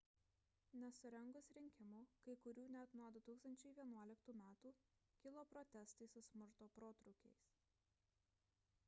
nesurengus rinkimų kai kurių net nuo 2011 metų kilo protestai su smurto protrūkiais